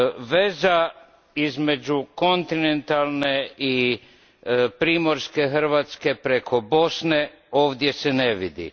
Veza između kontinentalne i primorske Hrvatske preko Bosne ovdje se ne vidi.